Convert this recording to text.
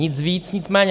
Nic víc, nic méně.